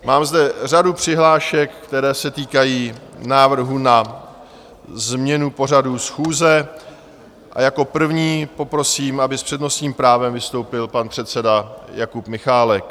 Mám zde řadu přihlášek, které se týkají návrhu na změnu pořadu schůze, a jako první poprosím, aby s přednostním právem vystoupil pan předseda Jakub Michálek.